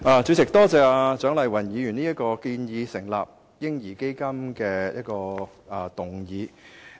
主席，多謝蔣麗芸議員提出這項建議成立"嬰兒基金"的議案。